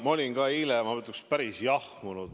Ma olin ka eile, ma ütleks, päris jahmunud.